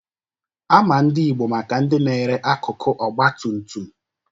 Ama ndị Ịgbo maka ndị na-ere akụkụ Ọgbatumtum